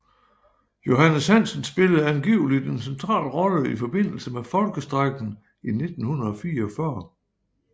Johannes Hansen spillede angiveligt en central rolle i forbindelse med Folkestrejken i 1944